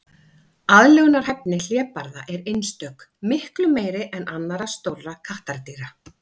Aðlögunarhæfni hlébarða er einstök, miklu meiri en annarra stórra kattardýra.